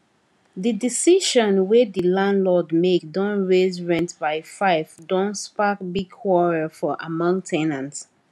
the decision wey the landlord make don raise rent by 5 don spark big quarrel for among ten ants